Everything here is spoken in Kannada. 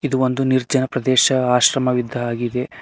ಇದು ಒಂದೊಂದು ನಿರ್ಜನ ಪ್ರದೇಶ ಆಶ್ರಮ ಇದ್ದ ಹಾಗೆ ಇದೆ.